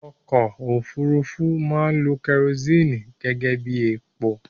Ọkọ òfúrufú máa ń lo kerosini gẹ́gẹ́bí epo